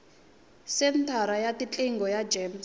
senthara ya tiqingho ya gems